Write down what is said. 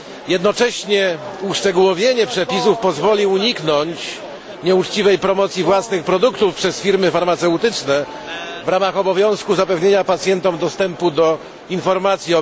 Jednocześnie uszczegółowienie przepisów pozwoli uniknąć nieuczciwej promocji własnych produktów przez firmy farmaceutyczne w ramach obowiązku zapewnienia pacjentom dostępu do informacji.